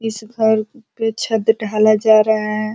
इस घर पे छत ढाला जा रहा है।